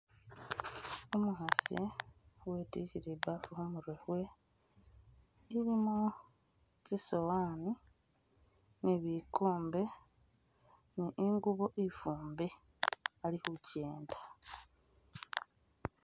Umukhasi witikhile ibafu khumurwe khwe, ilimo tsisowani ni bikombe ni ingubo ifumbe ali khukyenda.